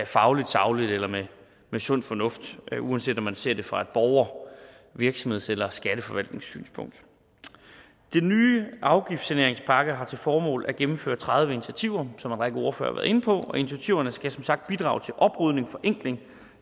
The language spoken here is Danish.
fagligt sagligt eller med sund fornuft uanset om man ser det fra et borger virksomheds eller skatteforvaltningssynspunkt den nye afgiftssaneringspakke har til formål at gennemføre tredive initiativer som en række ordførere inde på og initiativerne skal som sagt bidrage til oprydning i og forenkling